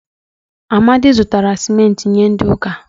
Amadi zụtara cimenti nye ndi ụka